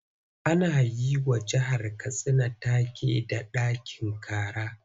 Ana yi wa jihar Katsina take da 'ɗakin kara'.